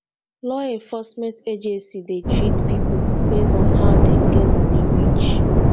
law enforcement agency de treat pipo based on how dem get money reach